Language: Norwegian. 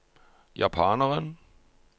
japaneren